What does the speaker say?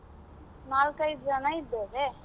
ನಾವು ನಾಲ್ಕೈದ್ ಜನ ಇದ್ದೇವೆ.